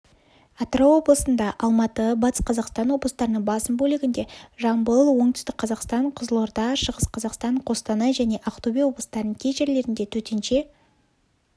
атырау облысында алматы батыс қазақстан облыстарының басым бөлігінде жамбыл оңтүстік қазақстан қызылорда шығыс қазақстан қостанай және ақтөбе облыстарының кей жерлерінде төтенше